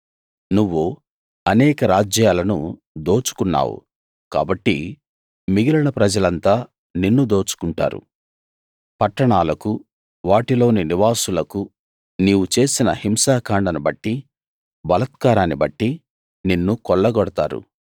నువ్వు అనేక రాజ్యాలను దోచుకున్నావు కాబట్టి మిగిలిన ప్రజలంతా నిన్ను దోచుకుంటారు పట్టణాలకు వాటిలోని నివాసులకు నీవు చేసిన హింసాకాండను బట్టి బలాత్కారాన్ని బట్టి నిన్ను కొల్లగొడతారు